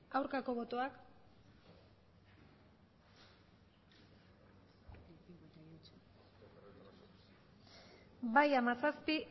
aurkako botoak bai hamazazpi